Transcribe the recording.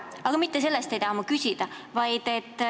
Aga mitte selle kohta ei taha ma küsida.